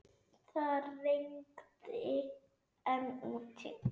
Það rigndi enn úti.